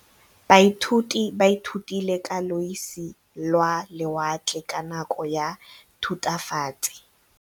Baithuti ba ithutile ka losi lwa lewatle ka nako ya Thutafatshe.